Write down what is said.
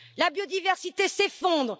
la biodiversité s'effondre